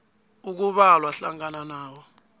ekubalwa hlangana nawo